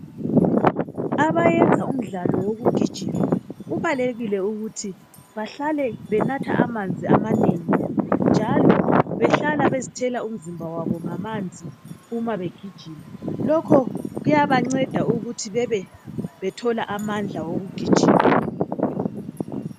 Abayenza umdlalo wokugijima kubalekile ukuthi bahlale benatha amanzi amanengi njalo behlala bezithela umzimba wabo ngamanzi uma begijima lokho kuyabanceda ukuthi bebebethola amandla okugijima.